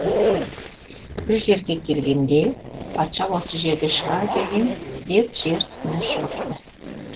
бір жерге келгенде патша осы жерде шығар деп жер үстіне шығыпты